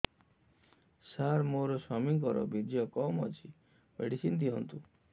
ସାର ମୋର ସ୍ୱାମୀଙ୍କର ବୀର୍ଯ୍ୟ କମ ଅଛି ମେଡିସିନ ଦିଅନ୍ତୁ